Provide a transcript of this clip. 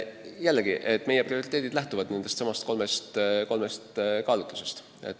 Jällegi, meie prioriteedid lähtuvad täna juba märgitud kolmest kaalutlusest.